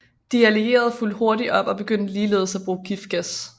De allierede fulgte hurtigt op og begyndte ligeledes at bruge giftgas